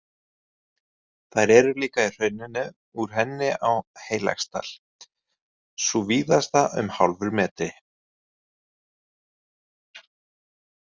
Þær eru líka í hrauninu úr henni á Heilagsdal, sú víðasta um hálfur metri.